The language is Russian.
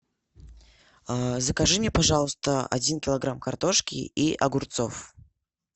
закажи мне пожалуйста один килограмм картошки и огурцов